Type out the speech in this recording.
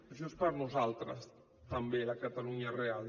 això és per nosaltres també la catalunya real